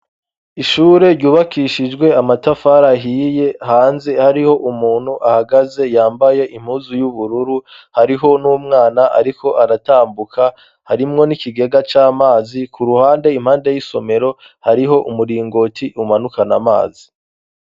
Ishure ryubakishijwe amatafara ahiye hanze hariho umuntu ahagaze yambaye impuzu y'ubururu hariho n'umwana, ariko aratambuka harimwo n'ikigega c'amazi ku ruhande impande y'isomero hariho umuringoti umanukana amazi.